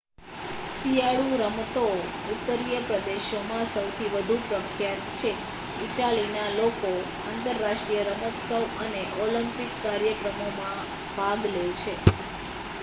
શિયાળુ રમતો ઉત્તરીય પ્રદેશોમાં સૌથી વધુ પ્રખ્યાત છે ઈટાલીના લોકો આંતરરાષ્ટ્રીય રમોત્સવ અને ઓલિમ્પિક કાર્યક્રમોમાં ભાગ લે છે